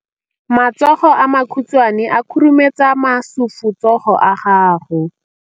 Matsogo a makhutshwane a khurumetsa masufutsogo a gago.